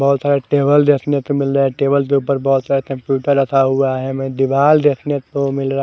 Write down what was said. बोहोत सारे टेबल देखने को मिल रहा है टेबल के उपर बोहोत सारे कंप्यूटर रखा हुआ है में दीवाल देखने को मिल रहा है।